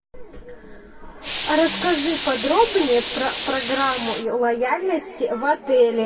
расскажи подробнее про программу лояльности в отеле